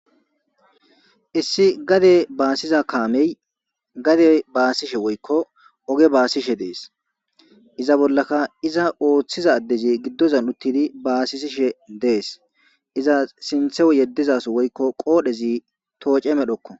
Issi gade basiza kame gade basishe woyikko oge basishe des iza bollaka iza otiza addezi gidozan utidi basisishe des iza sintawu yediza so woyikko qodhezi toce medhokko.